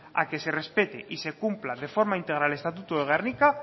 a que se respete y se cumpla de forma integral el estatuto de gernika